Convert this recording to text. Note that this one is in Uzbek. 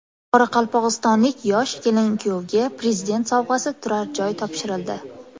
Qoraqalpog‘istonlik yosh kelin-kuyovga Prezident sovg‘asi turar joy topshirildi.